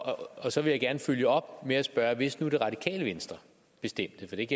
og så vil jeg gerne følge op med at spørge hvis nu det radikale venstre bestemte for det